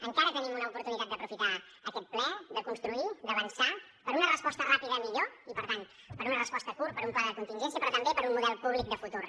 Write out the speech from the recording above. encara tenim una oportunitat d’aprofitar aquest ple de construir d’avançar per una resposta ràpida millor i per tant per una resposta a curt per un pla de contingència però també per un model públic de futur